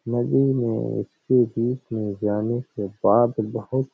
नदी में इसके बीच में जाने के बाद बहुत --